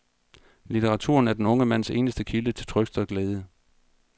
Litteraturen er den unge mands eneste kilde til trøst og glæde.